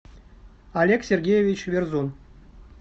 олег сергеевич верзун